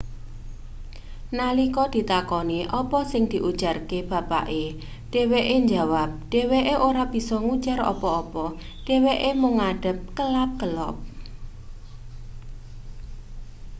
nalika ditakoni apa sing diujarke bapake dheweke njawap dheweke ora bisa ngujar apa-apa dheweke mung ngadeg kelap-kelop